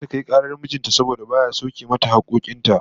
Zata kai karar mijin ta saboda baya sauke mata hakkokin ta